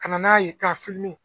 Ka na n'a ye ka